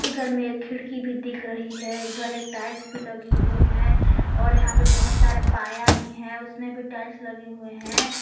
उधर में एक खिड़की भी दिख रही हैं इधर एक टाइल्स भी लगे हुए हैं और यहां पे बहुत सारे पाया भी हैं उसमें भी टाइल्स लगे हुए हैं।